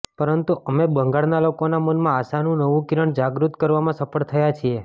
પરંતુ અમે બંગાળના લોકોના મનમાં આશાનું નવું કિરણ જાગૃત કરવામાં સફળ થયા છીએ